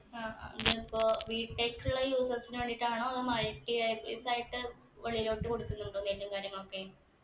ആ ഇതിപ്പോ വീട്ടിലേക്കുള്ള uses ന് വേണ്ടീട്ടാണോ അതോ മഴക്ക് ഇതായിട്ട് ഉള്ളിലോട്ട് കൊടുക്കുന്നുണ്ടോ നെല്ലും കാര്യങ്ങളൊക്കെ